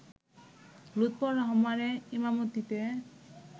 লুৎফর রহমানের ঈমামতিতে